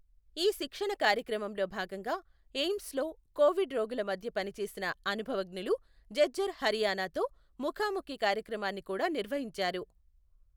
ఈ శిక్షణ కార్యక్రమంలో భాగంగా ఎయిమ్స్ లో కోవిడ్ రోగుల మధ్య పనిచేసిన అనుభవజ్ఞులు ఝఝ్ఝర్ హరియాణతో ముఖాముఖి కార్యక్రమాన్ని కూడా నిర్వహించారు.